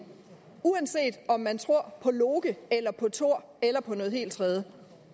uanset om man tror på loke eller på thor eller på noget helt tredje